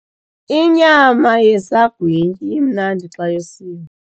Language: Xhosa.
Inyama yesagwityi imnandi xa yosiwe.